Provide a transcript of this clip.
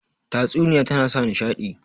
Tatsuniya tana sa nishaɗi